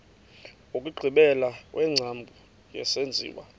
wokugqibela wengcambu yesenziwa